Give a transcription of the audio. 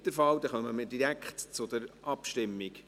– Das ist nicht der Fall, dann kommen wir direkt zur Abstimmung.